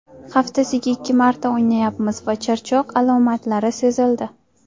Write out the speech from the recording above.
Haftasida ikki marta o‘ynayapmiz va charchoq alomatlari sezildi.